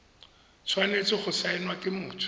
tshwanetse go saenwa ke motho